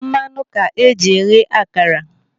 Mmanụ ka eji eghe akara.